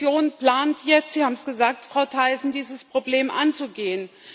Die Kommission plant jetzt Sie haben es gesagt, Frau Thyssen dieses Problem anzugehen.